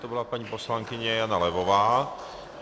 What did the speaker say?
To byla paní poslankyně Jana Levová.